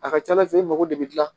A ka ca ala fɛ i mago de bɛ dilan